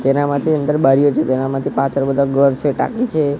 તેના માથે અંદર બારીઓ છે તેના માથે પાછળ બધા ઘર છે ટાકી છે.